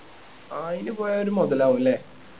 അയിന് പോയാ ഒരു മൊതലാവും ല്ലേ